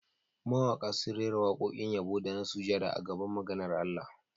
Mawaƙa sun rera waƙoƙin yabo da na sujada a gaban maganar Allah